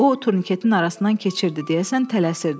O turniketin arasından keçirdi, deyəsən tələsirdi.